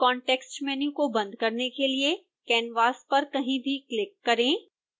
context menu को बंद करने के लिए canvas पर कहीं भी क्लिक करें